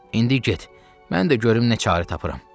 İndi get, mən də görüm nə qərarı tapıram.